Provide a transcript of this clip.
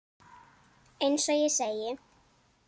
Eins og ég segi.